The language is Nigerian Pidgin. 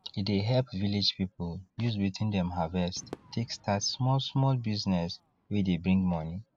e dey help village people use wetin dem harvest take start smallsmall business wey dey bring money